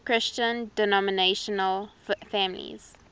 christian denominational families